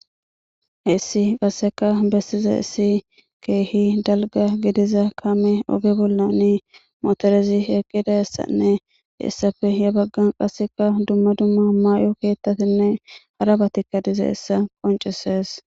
heessi qasseka bessiza issi keehi dalga gidiza kame oge bollani motorezi eqqida issanne issafe ya baggan qasseka dumma dumma maay7o keettatinne haraba tikka dize essa qonceses